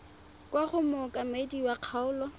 kwa go mookamedi wa kgaolo